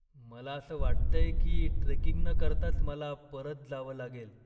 मला असं वाटतंय की ट्रेकिंग न करताच मला परत जावं लागेल.